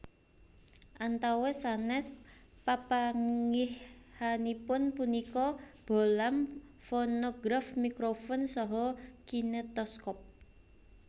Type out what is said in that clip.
Antawis sanès papanggihanipun punika bohlam fonograf mikrofon saha kinetoskop